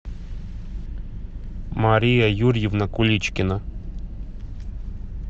мария юрьевна куличкина